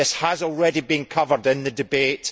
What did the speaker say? This has already been covered in the debate.